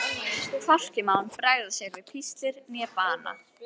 Hvorki má hann bregða sér við píslir né bana.